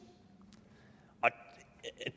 og